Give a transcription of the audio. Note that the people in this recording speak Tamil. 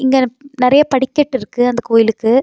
இங்க னப் நெறய படிக்கட்டு இருக்கு அந்த கோயிலுக்கு.